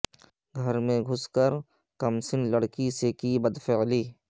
گھر میں گھس کر کمسن لڑکی سے کی بدفعلی